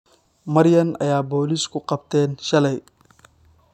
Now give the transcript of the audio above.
Maryan ayay boolisku qabteen shalay